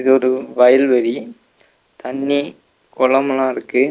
இது ஒரு வயல்வெளி தண்ணி கொளம்ல்லா இருக்கு.